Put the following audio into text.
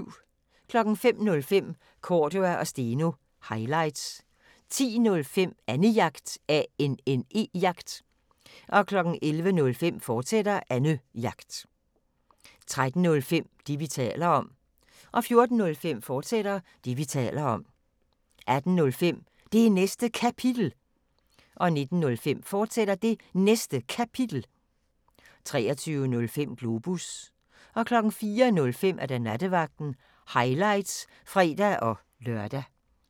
05:05: Cordua & Steno – highlights 10:05: Annejagt 11:05: Annejagt, fortsat 13:05: Det, vi taler om 14:05: Det, vi taler om, fortsat 18:05: Det Næste Kapitel 19:05: Det Næste Kapitel, fortsat 23:05: Globus 04:05: Nattevagten – highlights (fre-lør)